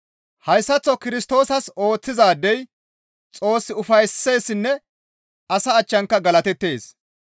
Hayssaththo Kirstoosas ooththizaadey Xoos ufaysseessinne asa achchanka galatettees.